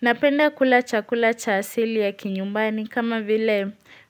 Napenda kula chakula cha asili ya kinyumbani kama vile